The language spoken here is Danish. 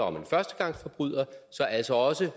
om en førstegangsforbryder så altså også